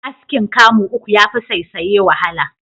Askin kamu uku yafi saisaye wahala.